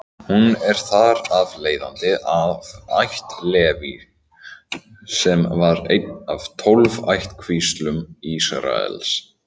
Hún er þar af leiðandi af ætt Leví, sem var ein af tólf ættkvíslum Ísraels.